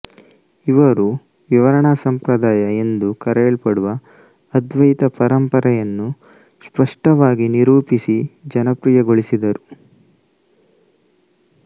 ಇವರು ವಿವರಣಾ ಸಂಪ್ರದಾಯ ಎಂದು ಕರೆಯಲ್ಪಡುವ ಅದ್ವೈತ ಪರಂಪರೆಯನ್ನು ಸ್ಪಷ್ಟವಾಗಿ ನಿರೂಪಿಸಿ ಜನಪ್ರಿಯಗೊಳಿಸಿದರು